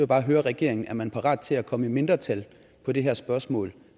bare høre regeringen er man parat til at komme i mindretal på det her spørgsmål